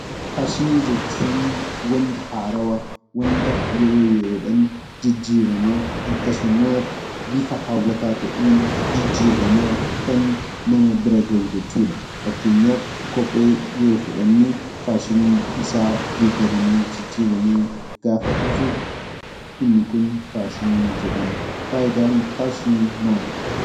Faashinii jechuun waanta haarawaa, waanta yeroo yeroodhaan jijiiramaa akkasumas bifa hawwataa ta'een jijjiiramaa kan nama bira gahu jechuudha. Fakkeenyaaf kophee yoo fudhanne faashiniin isaa geeddaramee, jijjiiramee gaafa dhufu inni kun faashinii jedhama. Faayidaan faashinii maali?